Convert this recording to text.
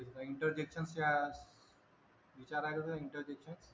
Interdiction चा विचार आहे का Interdiction